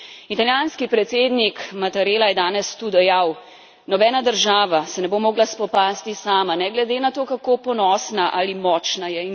Italijanski predsednik Mattarela je danes tu dejal nobena država se ne bo mogla spopasti sama ne glede na to, kako ponosna ali močna je.